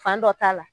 Fan dɔ t'a la